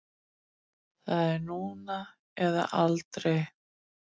Það er núna eða aldrei.